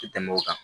Tɛ tɛmɛ o kan